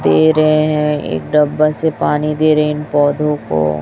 दे रहे हैं एक डब्बा से पानी दे रहे इन पौधों को।